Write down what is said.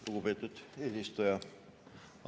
Lugupeetud eesistuja!